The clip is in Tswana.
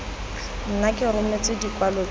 nna ke rometse dikwalo tsotlhe